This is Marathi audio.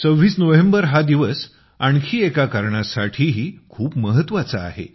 26 नोव्हेंबर हा दिवस आणखी एका कारणासाठीही खूप महत्त्वाचा आहे